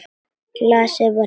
Glasið var tómt.